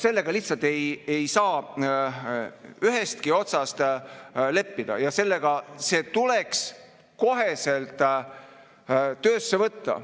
Sellega lihtsalt ei saa ühestki otsast leppida ja see tuleks kohe töösse võtta.